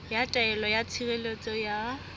ya taelo ya tshireletso ya